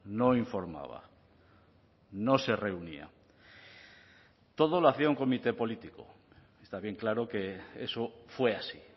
no informaba no se reunía todo lo hacía un comité político está bien claro que eso fue así